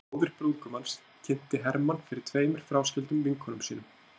Móðir brúðgumans kynnti Hermann fyrir tveimur fráskildum vinkonum sínum.